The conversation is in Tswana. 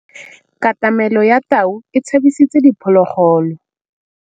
Katamêlô ya tau e tshabisitse diphôlôgôlô.